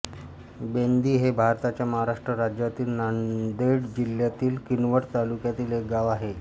बेंदी हे भारताच्या महाराष्ट्र राज्यातील नांदेड जिल्ह्यातील किनवट तालुक्यातील एक गाव आहे